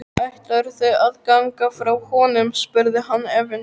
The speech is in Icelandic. Ætlarðu að ganga frá honum? spurði hann efins.